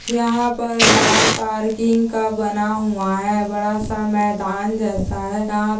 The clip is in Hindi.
यहा पर कार पार्किंग का बना हुआ है बड़ा सा मैदान जैसा है यहा--